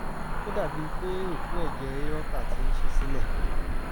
ó dàbí pé òpó ẹ̀jẹ̀ aorta ti ń ṣí sílẹ̀